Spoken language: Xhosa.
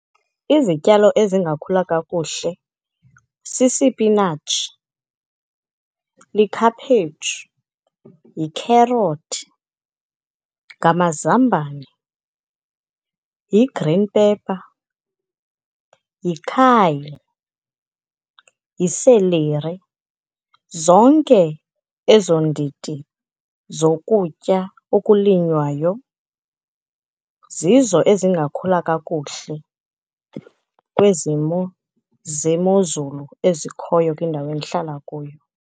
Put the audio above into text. Izityalo ezingakhula kakuhle sisipinatshi, likhaphetshu, yikherothi, ngamazambane, yi-green pepper, yi-kale, yi-celery. Zonke ezo ndidi zokutya okulinywayo, zizo ezingakhula kakuhle kwizimvo zemozulu ezikhoyo kwindawo endihlala kuyo.